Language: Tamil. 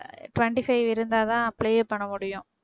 twenty five இருந்தாதான் apply யே பண்ண முடியும்